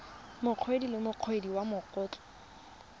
mokaedi le mokaedi wa matlotlo